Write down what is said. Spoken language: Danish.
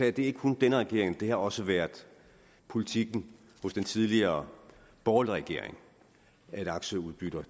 er det ikke kun denne regering det har også været politikken hos den tidligere borgerlige regering at aktieudbytter